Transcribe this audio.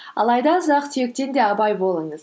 алайда ұсақ түйектен де абай болыңыз